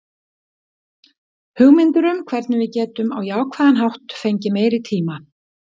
Hugmyndir um hvernig við getum á jákvæðan hátt fengið meiri tíma.